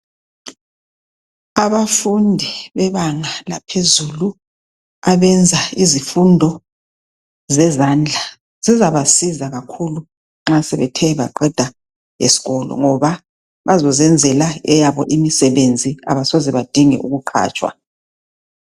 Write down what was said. Abafundi bebanga laphezulu abenza izifundo zezandla zizabasiza kakhulu nxa sebethe baqeda esikolo ngoba bazozenzela eyabo imisebenzi abasoze badinge ukuqhatshwa.